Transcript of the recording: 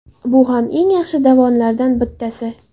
Bu ham eng yaxshi davonlardan bittasi.